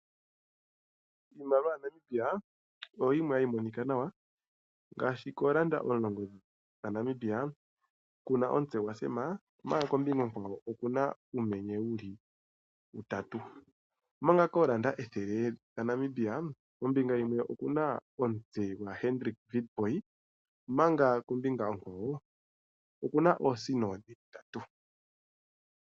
Iimaliwa ya Namibia oyimwe hayi monika nawa, ngashi koondola omulongo dha Namibia okuna omutse gwa tatekulu Sam, omanga kombinga ohwawo okuna uumenye wuli uutatu, omanga koondola dhaNamibia ethele, kombinga yimwe okuna omutse gwa tatekulu Hendrick Witbooi, manga kombinga onkawo kuna oosino dhili ndatatu.